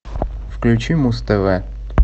включи муз тв